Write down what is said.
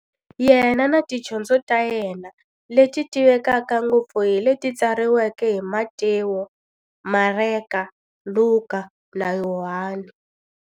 Yena na tidyondzo ta yena, leti tivekaka ngopfu hi leti tsariweke hi-Matewu, Mareka, Luka, na Yohani.